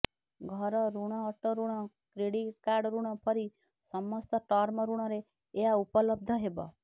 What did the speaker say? ଘର ଋଣ ଅଟୋ ଋଣ କ୍ରେଡିଟ୍ କାର୍ଡ ଋଣ ପରି ସମସ୍ତ ଟର୍ମ ଋଣରେ ଏହା ଉପଲବ୍ଧ ହେବ